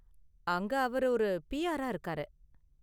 அங்க அவர் ஒரு பிஆரா இருக்காரு.